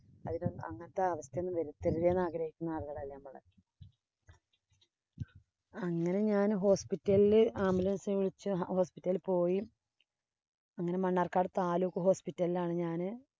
അതിനൊന്നും അങ്ങനത്തെ അവസ്ഥയൊന്നും വരുത്തല്ലേ എന്നാഗ്രഹിക്കുന്ന ആളുകളാ നമ്മള്. അങ്ങനെ ഞാന്‍ ambulanace വിളിച്ചു hospital ഇല്‍ പോയി. അങ്ങനെ മണ്ണാര്‍ക്കാട് hospital ഇല്‍ ആണ് ഞാന്